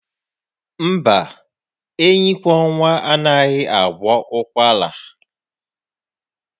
Mba, enyikwọnwa anaghị agwọ ụkwara